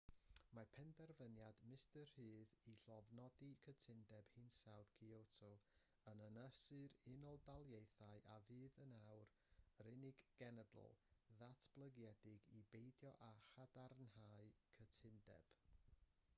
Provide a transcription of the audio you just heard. mae penderfyniad mr rudd i lofnodi cytundeb hinsawdd kyoto yn ynysu'r unol daleithiau a fydd yn awr yr unig genedl ddatblygedig i beidio â chadarnhau'r cytundeb